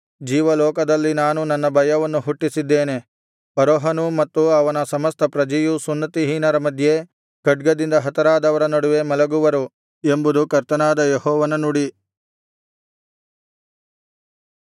ಇಗೋ ಜೀವಲೋಕದಲ್ಲಿ ನಾನು ನನ್ನ ಭಯವನ್ನು ಹುಟ್ಟಿಸಿದ್ದೇನೆ ಫರೋಹನೂ ಮತ್ತು ಅವನ ಸಮಸ್ತ ಪ್ರಜೆಯೂ ಸುನ್ನತಿಹೀನರ ಮಧ್ಯೆ ಖಡ್ಗದಿಂದ ಹತರಾದವರ ನಡುವೆ ಮಲಗುವರು ಎಂಬುದು ಕರ್ತನಾದ ಯೆಹೋವನ ನುಡಿ